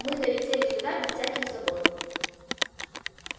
мы долетели сюда без всяких забот